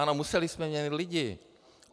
Ano, museli jsme měnit lidi.